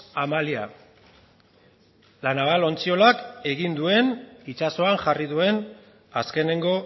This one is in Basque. amalia la naval ontziolak egin duen itsasoan jarri duen azkeneko